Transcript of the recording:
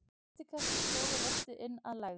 Þrýstikraftur togar loftið inn að lægð.